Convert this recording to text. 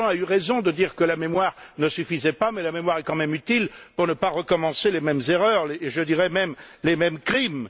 Danjean a eu raison de dire que la mémoire ne suffisait pas mais la mémoire est quand même utile pour ne pas reproduire les mêmes erreurs, je dirais même les mêmes crimes.